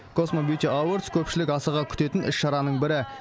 космо бьюти авордс көпшілік асыға күтетін іс шараның бірі